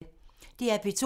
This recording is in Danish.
DR P2